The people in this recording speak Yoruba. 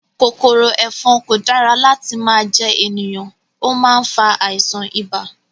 Kòkòrò ẹ̀fọn kò dára láti máa jẹ ènìyàn, ó má ń fa àìsàn ibà